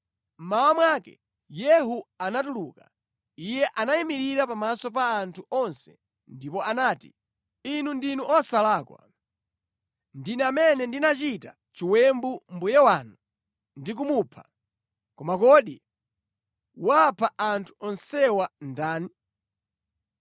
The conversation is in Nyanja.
Mmawa mwake Yehu anatuluka. Iye anayimirira pamaso pa anthu onse ndipo anati, “Inu ndinu osalakwa. Ndine amene ndinachita chiwembu mbuye wanu ndi kumupha, koma kodi wapha anthu onsewa ndani?